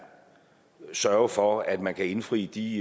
sørge for at man kan indfri de